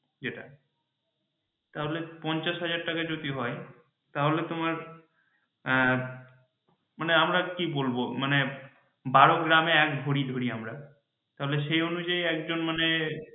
যেটা তাহলে পঞ্চাশ হাজার টাকা যদি হয় তাহলে তোমার মানে আমরা কি বলবো মানে বারো গ্রামে এক ভরি ধরি আমরা তাহলে সেই অনুযায়ী একজন মানে